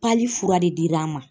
fura de dir'an ma